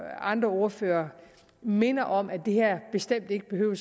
andre ordførere mindede om at det her bestemt ikke behøver